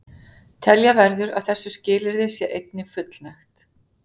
telja verður að þessu skilyrði sé einnig fullnægt